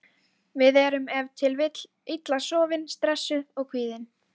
Við erum ef til vill illa sofin, stressuð og kvíðin.